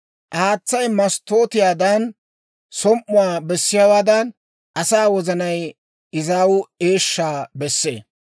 Haatsay masttootiyaadan som"uwaa bessiyaawaadan, asaa wozanay izaaw eeshshaa bessee.